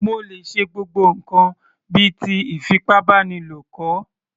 Mo lè ṣe gbogbo ǹkan bíi ti ìfipábánilo kọ̀